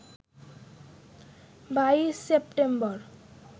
২২ September